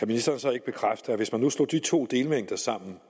ministeren så ikke bekræfte at hvis man nu slog de to delmængder sammen